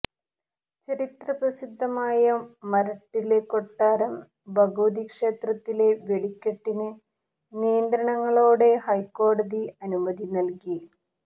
ചരിത്ര പ്രസിദ്ധമായ മരട്ടില് കൊട്ടാരം ഭഗവതി ക്ഷേത്രത്തിലെ വെടിക്കെട്ടിന് നിയന്ത്രണങ്ങളോടെ ഹൈക്കോടതി അനുമതി നല്കി